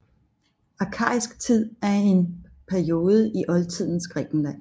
Arkaisk tid er en periode i oldtidens Grækenland